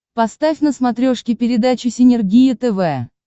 поставь на смотрешке передачу синергия тв